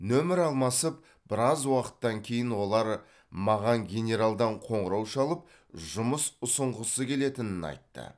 нөмір алмасып біраз уақыттан кейін олар маған генералдан қоңырау шалып жұмыс ұсынғысы келетінін айтты